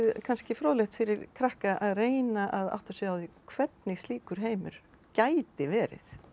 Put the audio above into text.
kannski fróðlegt fyrir krakka að reyna að átta sig á hvernig slíkur heimur gæti verið